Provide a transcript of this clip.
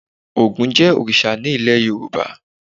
Ògún jẹ́ òrìṣà ní ilé Yorùbá.